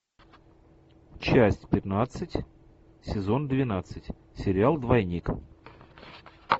часть пятнадцать сезон двенадцать сериал двойник